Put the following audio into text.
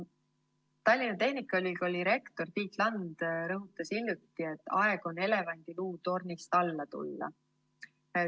Tallinna Tehnikaülikooli rektor Tiit Land rõhutas hiljuti, et aeg on elevandiluutornist alla tulla.